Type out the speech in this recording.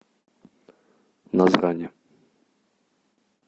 назрани